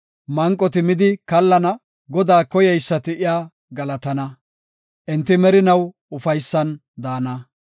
Manqoti midi kallana; Godaa koyeysati iya galatana; enti merinaw ufaysan daana.